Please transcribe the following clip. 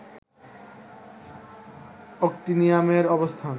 অ্যাক্টিনিয়ামের অবস্থান